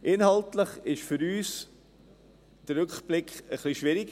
Inhaltlich ist für uns der Rückblick ein bisschen schwierig.